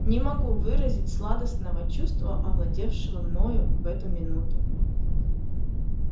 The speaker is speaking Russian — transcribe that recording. не могу выразить сладостного чувства овладевшего мною в эту минуту